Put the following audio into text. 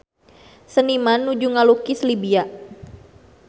Seniman nuju ngalukis Libya